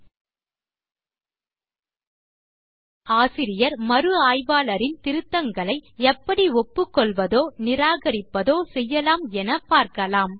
இப்போது ஆசிரியர் மறு ஆய்வாளரின் திருத்தங்களை எப்படி ஒப்புக்கொள்வதோ நிராகரிப்பதோ செய்யலாம் என பார்க்கலாம்